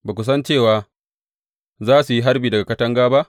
Ba ku san cewa za su yi harbi daga katanga ba?